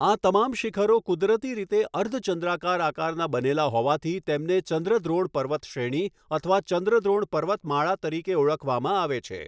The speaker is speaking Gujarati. આ તમામ શિખરો કુદરતી રીતે અર્ધચંદ્રાકાર આકારના બનેલા હોવાથી તેમને ચંદ્રદ્રોણ પર્વત શ્રેણી અથવા ચંદ્રદ્રોણ પર્વતમાલા તરીકે ઓળખવામાં આવે છે.